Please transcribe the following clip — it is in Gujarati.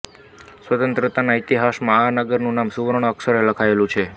સ્વાતંત્રતાના ઇતિહાસમાં આ નગરનું નામ સુવર્ણ અક્ષરે લખાયેલું છે